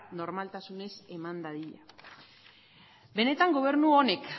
normaltasunez eman dadin benetan gobernu honek